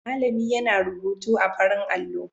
Malami yana rubutu a farin allo.